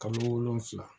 Kalo wolonfila